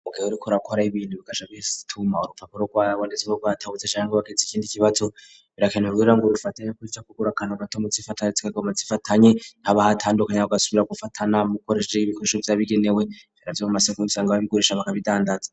Mugihe uriko urakora ibintu bikasabituma urupfaka urrwabonetse go ratahutse shange baketse ikindi ikibatso birakene rwira ngo rifate yo kwipya kugura akano gato mu tifataitsekoma tsfatanyi ntabahatandukanye kagasubira gufatana mukoreje y'ibikosho byabigenewe ivyo mu maseko bisanga babi gurisha baka bidandaza.